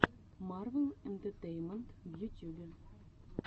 марвел энтетейнмент в ютюбе